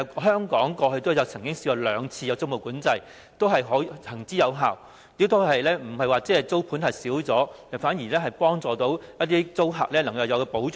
香港過去也曾實施過兩次租務管制，均是行之有效，亦未有令租盤減少，反而讓租客得到保障。